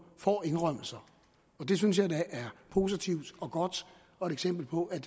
får indrømmelser og det synes jeg da er positivt og godt og et eksempel på at